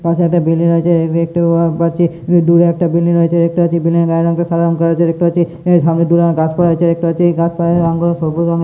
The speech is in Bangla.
পাশে একটা বিল্ডিং রয়েছে দেখতে পাচ্ছি দূরে একটা বিল্ডিং রয়েছে দেখতে পাচ্ছি বিল্ডিং এর টা সাদা রং করা আছে দেখতে পাচ্ছি সামনে দূরে অনেক গাছপালা দেখতে পাচ্ছি গাছ পালার রং গুলো সবুজ রঙের।